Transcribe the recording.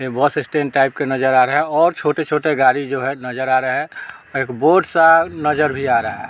ये bus stand type का नज़र आ रहा है और छोटे-छोटे गाड़ी जो है नज़र आ रहा है और एक बोर्ड सा नज़र भी आ रहा है।